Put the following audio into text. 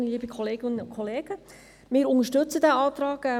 Selbstverständlich unterstützen wir diesen Antrag.